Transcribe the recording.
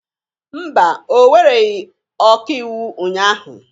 Mba, ọ wereghị ọkaiwu ụnyahụ